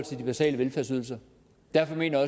til de basale velfærdsydelser derfor mener